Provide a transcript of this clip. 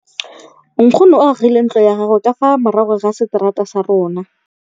Nkgonne o agile ntlo ya gagwe ka fa morago ga seterata sa rona.